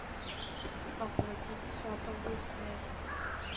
оплатить сотовую связь